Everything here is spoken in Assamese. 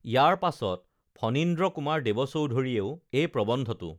ইয়াৰ পাছত ফণীন্দ্ৰ কুমাৰ দেৱ চোধুৰীয়েও এই প্ৰবন্ধটো